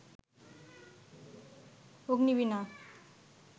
Agnibina